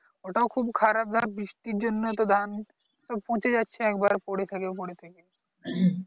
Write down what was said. ওটাও খুব খারাপ ধর বৃষ্টির জন্য ধান পচে যাচ্ছে একেবারে পরে থেকে মরে থেকে